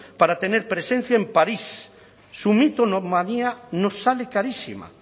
para tener presencia en parís su mitomanía nos sale carísima